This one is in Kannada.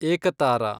ಏಕತಾರಾ